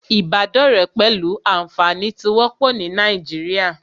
Ìbádọ́rẹ̀ẹ́ pẹ̀lú ànfàní tí wọ́pọ̀ ní Nàìjíríà